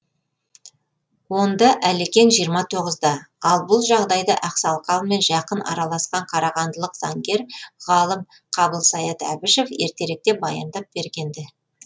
онда әлекең жиырма тоғызда ал бұл жағдайды ақсақалмен жақын араласқан қарағандылық заңгер ғалым қабылсаят әбішев ертеректе баяндап бергенді